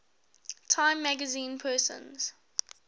time magazine persons